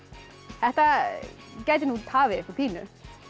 þetta gæti nú tafið ykkur pínu